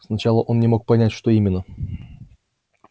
сначала он не мог понять что именно